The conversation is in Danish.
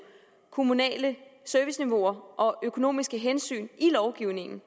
kommunale serviceniveauer og økonomiske hensyn i lovgivningen